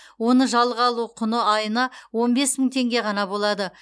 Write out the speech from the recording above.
оны жалға алу құны айына он бес мың теңге ғана болады